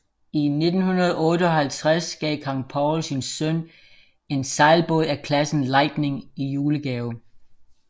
I 1958 gav kong Paul sin søn en sejlbåd af klassen Lightning i julegave